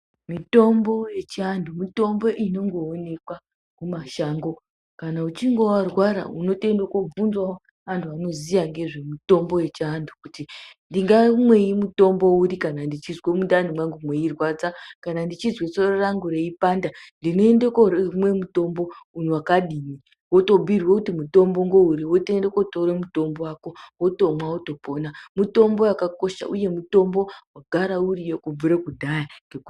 Mitombo yechianhu mitombo inongoonekwa mumashango kana uchinge warwra unotoende kobvunzawo anhu anoziya ngezvemitombo yechinanhu kuti ndingamwei mutombo uri kana ndeizwe mundani mwangu mweirwadza kana ndechizwe soro rangu reipanda ndinoende koomwe mutombo wakadini wotobhuyirwe kuti mutombo ngouri wotoende kootore mutombo wako wotomwa wotopona, mutombo wakakosha, mutombo wagara uriyo kubvire kudhaya...